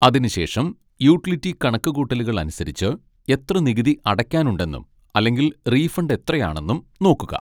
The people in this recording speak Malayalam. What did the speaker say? അതിനുശേഷം യൂട്ടിലിറ്റി കണക്കുകൂട്ടലുകൾ അനുസരിച്ച് എത്ര നികുതി അടയ്ക്കാനുണ്ടെന്നും അല്ലെങ്കിൽ റീഫണ്ട് എത്രയാണെന്നും നോക്കുക.